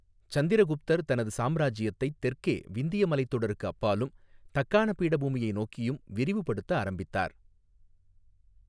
சந்திரகுப்தர் தனது சாம்ராஜ்யத்தைத் தெற்கே விந்திய மலைத்தொடருக்கு அப்பாலும், தக்காண பீடபூமியை நோக்கியும் விரிவுபடுத்த ஆரம்பித்தார்.